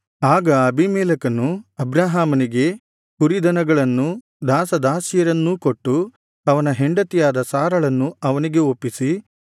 ಆಗ ಅಬೀಮೆಲೆಕನು ಅಬ್ರಹಾಮನಿಗೆ ಕುರಿದನಗಳನ್ನೂ ದಾಸದಾಸಿಯರನ್ನೂ ಕೊಟ್ಟು ಅವನ ಹೆಂಡತಿಯಾದ ಸಾರಳನ್ನು ಅವನಿಗೆ ಒಪ್ಪಿಸಿ